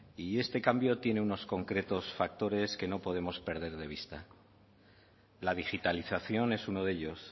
y este cambio tiene unos concretos factores que no podemos perder de vista la digitalización es uno de ellos